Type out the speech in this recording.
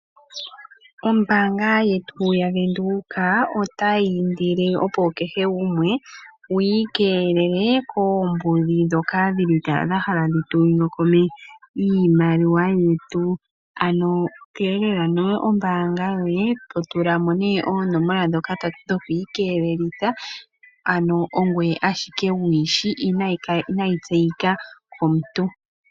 Ombanga yetu ya venduka otayindile opo kehe gumwe wikelele kombudhi dhoka hadhifala dhahala dhitunyokome iimaliwa yetu ano kelela nawa ombanga yoye totulamo ne onomola dhoka dhokwikelelitha ano ongwey ashike wuyishi ano inayitseyika yomuntu.